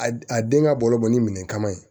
A a den ka balo bɔ ni minɛn kama yen